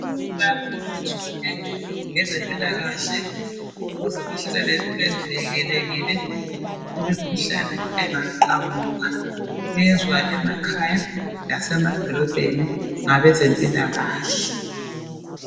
Abantu bayafundiswa ngezempilakahle ukuze bahlale bevikelekile kumikhuhlane engaqhamuka kwenziwa emakhaya lasemadolobheni ngabeze mpilakahle